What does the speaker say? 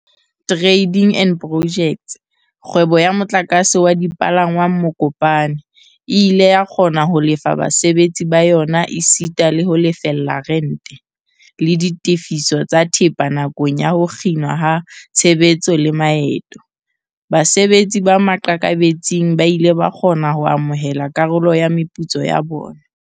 Trading and Pojects, kgwebo ya motlakase wa dipalangwang Mokopane, e ile ya kgona ho lefa basebetsi ba yona esita le ho lefella rente, le ditefiso tsa thepa nakong ya ho kginwa ha tshebetso le maeto. Basebetsi ba maqakabetsing ba ile ba kgona ho amohela karolo ya meputso ya bona.